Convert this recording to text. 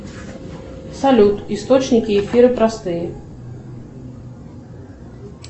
салют источники эфира простые